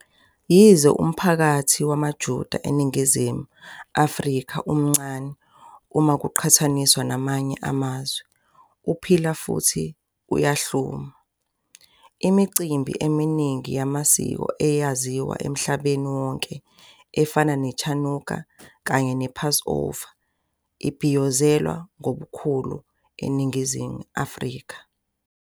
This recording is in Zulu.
Yize umphakathi wamaJuda eNingizimu Afrika uncane uma kuqhathaniswa namanye amazwe, uphila futhi uyahluma. Imicimbi eminingi yamasiko eyaziwa emhlabeni wonke, efana neChanukah kanye nePassover, ibhiyozelwa ngobukhulu eNingizimu Afrika.